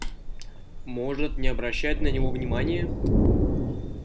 может не обращать на него внимания